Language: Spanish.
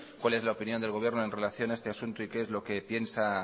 cuál es la opinión del gobierno en relación a este asunto y qué es lo que piensa